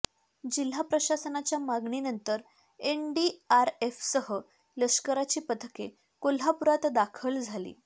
जिल्हा प्रशासनाच्या मागणीनंतर एनडीआरएफसह लष्कराची पथके कोल्हापूरात दाखल झाली